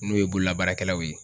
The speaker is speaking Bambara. N'o ye bololabaarakɛlaw ye.